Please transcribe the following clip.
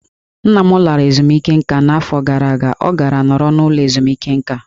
Nna m lara ezumike nká n'afọ gara aga, ọ gara nọrọ n'ụlọ ezumike nká.